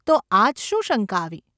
‘તો આજ શું શંકા આવી?